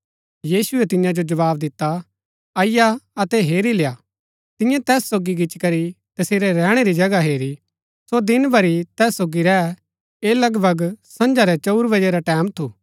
यीशुऐ तियां जो जवाव दिता अईआ अतै हेरी लेय्आ तियें तैस सोगी गिचीकरी तसेरै रैहणै री जगह हेरी सो दिन भरी तैस सोगी रैह ऐह लगभग संझा रै चंऊर बजै रा टैमं थू